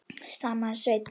stamaði Svenni.